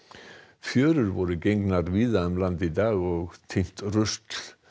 fjörur voru gengnar víða um land í dag og tíndi rusl